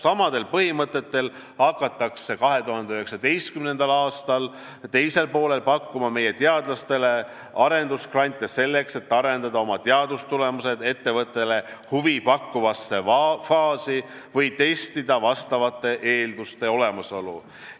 Samadel põhimõtetel hakatakse 2019. aasta teisel poolel pakkuma meie teadlastele arendusgrante, selleks et nad saaksid arendada oma teadustulemused ettevõttele huvi pakkuvasse faasi või testida vastavate eelduste olemasolu.